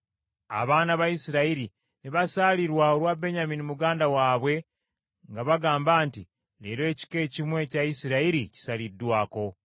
Abaana ba Isirayiri ne basaalirwa olwa Benyamini muganda waabwe nga bagamba nti, “Leero ekika ekimu ekya Isirayiri kisaliddwako.